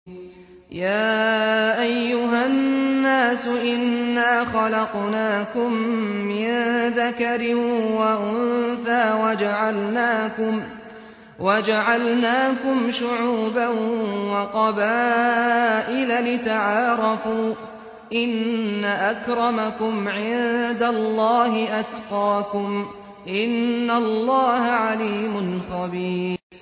يَا أَيُّهَا النَّاسُ إِنَّا خَلَقْنَاكُم مِّن ذَكَرٍ وَأُنثَىٰ وَجَعَلْنَاكُمْ شُعُوبًا وَقَبَائِلَ لِتَعَارَفُوا ۚ إِنَّ أَكْرَمَكُمْ عِندَ اللَّهِ أَتْقَاكُمْ ۚ إِنَّ اللَّهَ عَلِيمٌ خَبِيرٌ